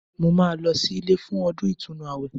Mo máa lọ sí ilé fún ọdún ìtúnu àwẹ̀